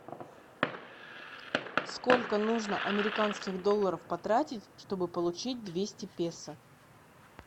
сколько нужно американских долларов потратить чтобы получить двести песо